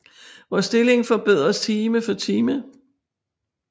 Vor stilling forbedres time for time